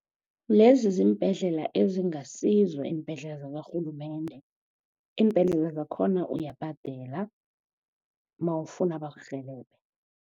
Lezi ziimbhedlela ezingasizo iimbhedlela zakarhulumende iimbhedlela zakhona uyabhadela mawufuna bakurhelebhe.